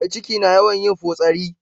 Mai ciki na yawan yin fotsari